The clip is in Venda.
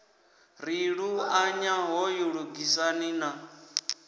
ri luṱanya hoyu lugisani na